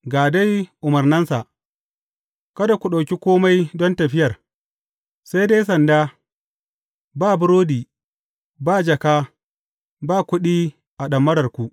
Ga dai umarnansa, Kada ku ɗauki kome don tafiyar, sai dai sanda ba burodi, ba jaka, ba kuɗi a ɗamararku.